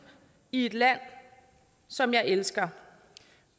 i et land som jeg elsker